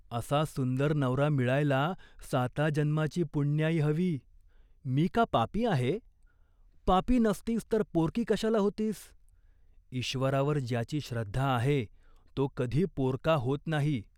असा सुंदर नवरा मिळायला साता जन्माची पुण्याई हवी." "मी का पापी आहे ?" "पापी नसतीस तर पोरकी कशाला होतीस ?" "ईश्वरावर ज्याची श्रद्धा आहे तो कधी पोरका होत नाही.